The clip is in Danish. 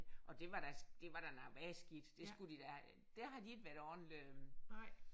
Og det var da det var da noget værre skidt det skulle de da der har de ikke været ordentlige